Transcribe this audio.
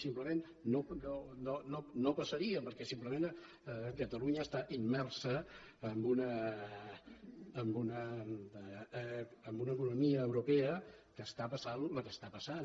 simplement no passaria perquè simplement catalunya està immersa en una economia europea que està passant la que està passant